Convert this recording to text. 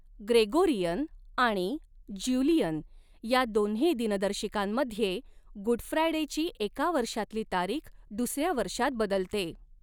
Gregorian आणि Julian या दोन्ही दिनदर्शिकांमध्ये गुड फ्रायडेची एका वर्षातली तारीख दुसऱ्या वर्षात बदलते.